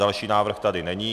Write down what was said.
Další návrh tady není.